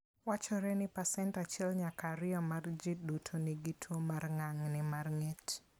Wachore ni pasent 1 nyaka 2 mar ji duto nigi tuo mar ng'ang'ni mar ng'et